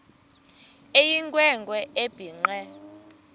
eyinkwe nkwe ebhinqe